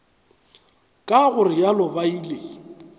ka go realo ba ile